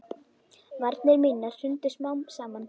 Varnir mínar hrundu smám saman.